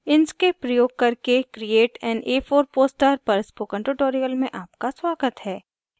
inkscape प्रयोग करके create an a4 poster पर spoken tutorial में आपका स्वागत है